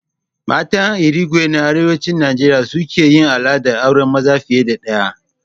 Matan Irigwe na Arewacin Najeriya suke yin al'adar auren maza fiye da ɗaya